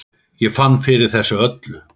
Ég fann fyrir þessu öllu.